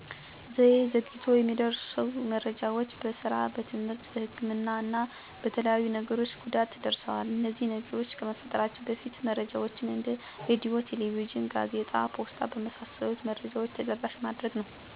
ዘዬ ዘግይቶ የሚደርሱ መረጃዎች በስራ፣ በትምህርት፣ በህክምና እና በተለያዩ ነገሮች ጉዳት ደርሰዋል። እነዚህ ነገሮች ከመፈጠራቸው በፊት መረጃዎችን እንደ ሬድዮ፣ ቴሌቪዥን፣ ጋዜጣ፣ ፖስታ በመሣሠሉት መረጃዎች ተደራሽ ማድረግ ነው። እኔ ከነዚህ የተማርኩት የዘገዩ መረጃዎች እንዴት ማድረስ እንዳለብኝ ነዉ።